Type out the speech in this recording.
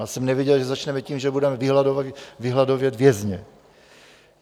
Já jsem nevěděl, že začneme tím, že budeme vyhladovět vězně.